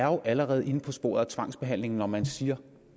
jo allerede er inde på sporet med tvangsbehandling når man siger